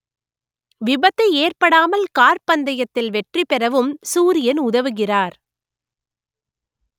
விபத்து ஏற்படாமல் கார் பந்தயத்தில் வெற்றி பெறவும் சூரியன் உதவுகிறார்